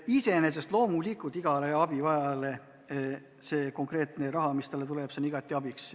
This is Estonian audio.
Iseenesest loomulikult igale abivajajale on konkreetne raha, mis talle tuleb, igati abiks.